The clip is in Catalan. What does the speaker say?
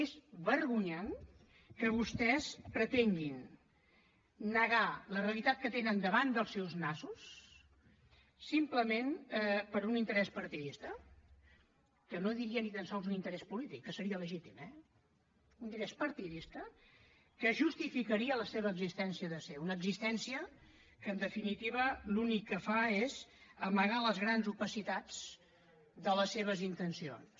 és vergonyant que vostès pretenguin negar la realitat que tenen davant dels seus nassos simplement per un interès partidista que no diria ni tan sols un interès polític que seria legítim eh un interès partidista que justificaria la seva existència de ser una existència que en definitiva l’únic que fa és amagar les grans opacitats de les seves intencions